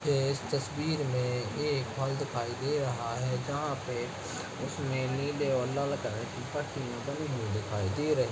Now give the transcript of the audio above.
ये इस तस्वीर में एक फल दिखाई दे रहा है जहाँ पे उसमे नीले और लाल कलर की पट्टियां बनी हुई दिखाई दे रही --